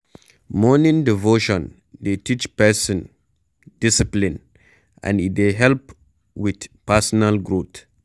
Morning devotion dey teach person discipline and e dey help with personal growth